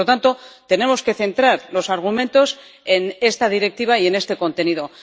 Por lo tanto, tenemos que centrar los argumentos en esta Directiva y en este contenido.